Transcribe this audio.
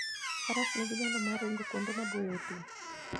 Faras nigi nyalo mar ringo kuonde maboyo e thim.